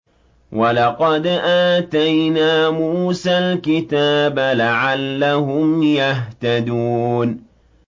وَلَقَدْ آتَيْنَا مُوسَى الْكِتَابَ لَعَلَّهُمْ يَهْتَدُونَ